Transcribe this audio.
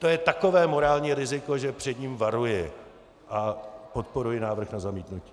To je takové morální riziko, že před ním varuji a podporuji návrh na zamítnutí.